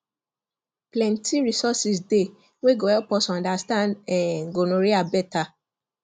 plenty resources dey wey go help us understand um gonorrhea better